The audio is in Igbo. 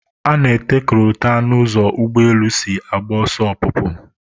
A na-ete kolota n'ụzọ ụgbọelu si agba ọsọ ọpụpụ